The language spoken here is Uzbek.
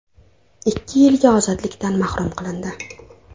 ikki yilga ozodlikdan mahrum qilindi.